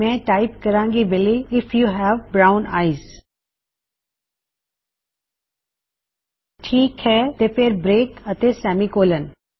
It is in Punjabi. ਮੈਂ ਟਾਇਪ ਕਰਾੰ ਗੀ ਬਿਲੀ ਅਤੇ echo you have brown eyes you have brown eyes ਠੀਕ ਹੈ ਤੇ ਫੇਰ ਬ੍ਰੇਕ ਅਤੇ ਸੇਮੀ ਕੋਲਨ